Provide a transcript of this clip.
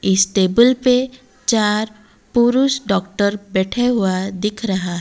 इस टेबल पे चार पुरुष डॉक्टर बैठे हुआ दिख रहा--